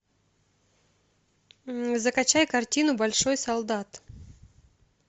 закачай картину большой солдат